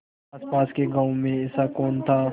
आसपास के गाँवों में ऐसा कौन था